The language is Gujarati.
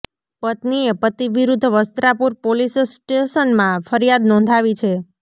પત્નીએ પતિ વિરુદ્ધ વસ્ત્રાપુર પોલીસ સ્ટેશનમાં ફરિયાદ નોંધાવી છે